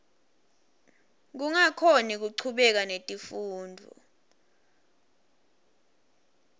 kungakhoni kuchubeka netifundvo